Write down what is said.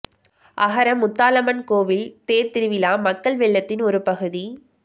அகரம் முத்தாளம்மன் கோவில் தேர் திருவிழா மக்கள் வெள்ளத்தின் ஒரு பகுதி